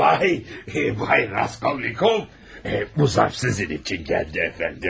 Vay vay Raskolnikov, bu zərf sizin üçün gəldi, cənab.